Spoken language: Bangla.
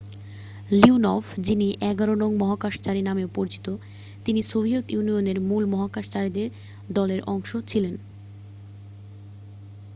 "লিওনভ যিনি "১১ নং মহাকাশচারী নামেও পরিচিত তিনি সোভিয়েত ইউনিয়নের মূল মহাকাশচারী দলের অংশ ছিলেন।